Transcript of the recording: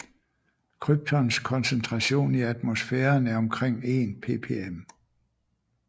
Kryptons koncentration i atmosfæren er omkring 1 ppm